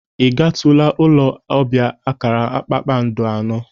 I gatụla ụlọ ọbia akara kpakpandọ anọ?